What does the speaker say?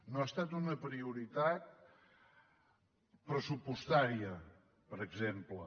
no ha estat una prioritat pressupostària per exemple